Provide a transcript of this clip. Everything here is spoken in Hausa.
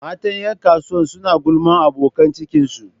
Mata 'yan kasuwar suna gulmar abokan cikinsu